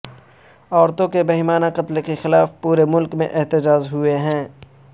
عورتوں کے بہیمانہ قتل کے خلاف پورے ملک میں احتجاج ہوئے ہیں